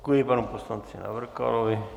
Děkuji panu poslanci Navrkalovi.